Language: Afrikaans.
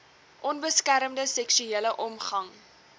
onbeskermde seksuele omgang